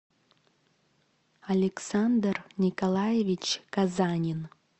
александр николаевич казанин